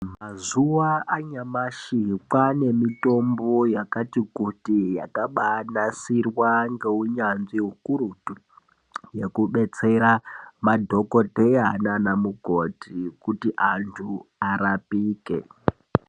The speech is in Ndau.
Mazuwa anyamashi kwane mitombo yakati kuti yakanasirwa ngeunyanzvi ukurutu yekudetsera madhokodheya nana mukoti kuti antu arapike.